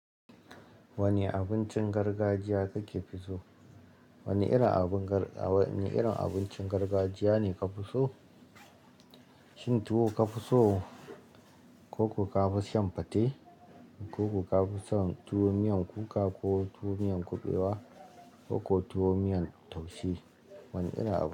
Wanne abincin gargajiya kake fi so? Wanne irin abincin gargajiya ne ka fi so? Shin tuwo ka fi so ko ko kafi shan fate, ko ko kafi son tuwo miyan kuka ko tuwo miyan kuɓewa ko tuwo miyan taushe, wanne irin abu?